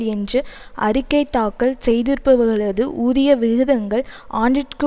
என்று அறிக்கை தாக்கல் செய்திருப்பவர்களது ஊதிய விகிதங்கள் ஆண்டிற்கு